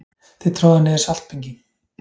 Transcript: Þið troðið niður saltbinginn.